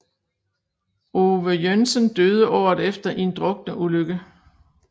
Ove Joensen døde året efter i en drukneulykke